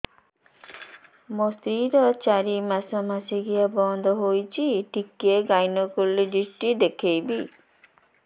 ମୋ ସ୍ତ୍ରୀ ର ଚାରି ମାସ ମାସିକିଆ ବନ୍ଦ ହେଇଛି ଟିକେ ଗାଇନେକୋଲୋଜିଷ୍ଟ ଦେଖେଇବି